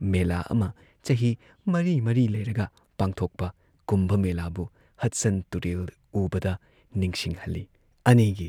ꯃꯦꯂꯥ ꯑꯃ ꯆꯍꯤ ꯃꯔꯤ ꯃꯔꯤ ꯂꯩꯔꯒ ꯄꯥꯡꯊꯣꯛꯄ ꯀꯨꯟꯚ ꯃꯦꯂꯥꯕꯨ ꯍꯗꯁꯟ ꯇꯨꯔꯦꯜ ꯎꯕꯗ ꯅꯤꯡꯁꯤꯡꯍꯜꯂꯤ ꯫ ꯑꯅꯤꯒꯤ